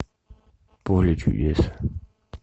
поле чудес